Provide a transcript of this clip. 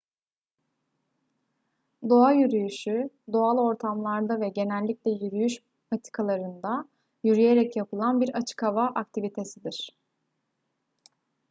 doğa yürüyüşü doğal ortamlarda ve genellikle yürüyüş patikalarında yürüyerek yapılan bir açık hava aktivitesidir